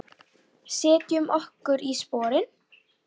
Setjum okkur í sporin.